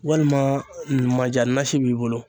Walima mandiya nasi b'i bolo.